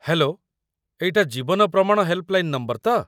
Hello! ଏଇଟା 'Jeevan Pramaan' helpline number ତ?